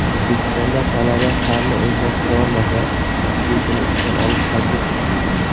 O‘zbekistonda talaba fanni o‘zlashtirolmasa, o‘qituvchini ishdan olish taklif etildi.